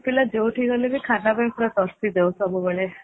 ବରମପୁର ପିଲା ଯୋଉଠିକି ଗଲେ ବି ଖାନା ପାଇଁ ପୁରା ପ୍ରସିଦ୍ଧ ଯାଉ ସବୁବେଳେ